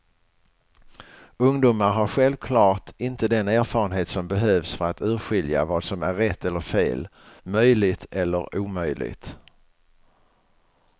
Ungdomar har självklart inte den erfarenhet som behövs för att urskilja vad som är rätt eller fel, möjligt eller omöjligt.